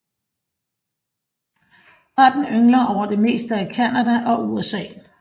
Arten yngler over det meste af Canada og USA